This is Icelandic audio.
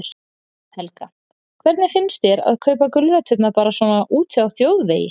Helga: Hvernig finnst þér að kaupa gulræturnar bara svona úti á þjóðvegi?